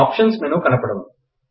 option menu కనపడును